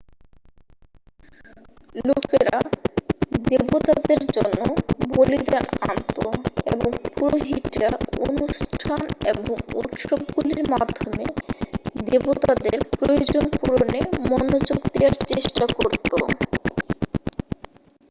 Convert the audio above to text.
লোকেরা দেবতাদের জন্য বলিদান আনত এবং পুরোহিতরা অনুষ্ঠান এবংউত্সবগুলির মাধ্যমে দেবতাদের প্রয়োজন পূরণে মনোযোগ দেয়ার চেষ্টা করত